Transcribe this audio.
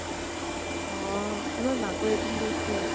অ । এবাৰ মাকৰ কৈছিল